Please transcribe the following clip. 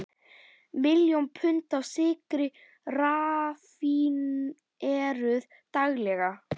Miljón pund af sykri raffíneruð daglega.